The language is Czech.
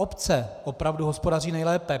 Obce opravdu hospodaří nejlépe.